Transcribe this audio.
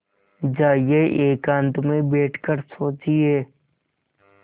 जाइए एकांत में बैठ कर सोचिए